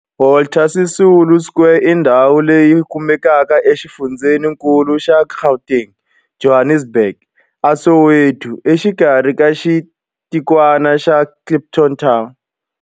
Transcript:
Walter Sisulu Square i ndhawu leyi kumekaka exifundzheni-nkulu xa Gauteng, Johannesburg, a Soweto, exikarhi ka xitikwana xa Kliptown.